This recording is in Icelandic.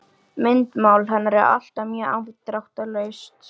Myndmál hennar er alltaf mjög afdráttarlaust.